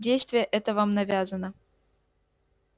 действие это вам навязано